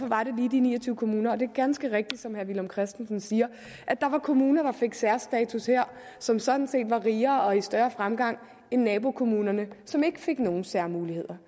var de ni og tyve kommuner og det er ganske rigtigt som herre villum christensen siger at der var kommuner der fik særstatus her som sådan set var rigere og i større fremgang end nabokommunerne som ikke fik nogen særmuligheder